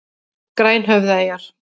Grænhöfðaeyjar